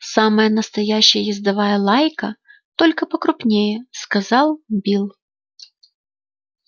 самая настоящая ездовая лайка только покрупнее сказал билл